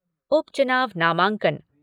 उपचुनाव नामांकन